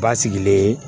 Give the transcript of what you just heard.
Basigilen